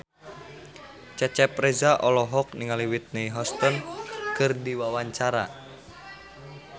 Cecep Reza olohok ningali Whitney Houston keur diwawancara